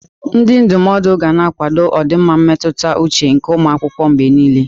Ndị ndụmọdụ ga na-akwado ọdịmma mmetụta uche nke ụmụ akwụkwọ mgbe niile.